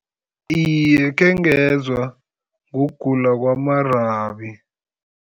Iye, khengezwa ngokugula kwama-rabie.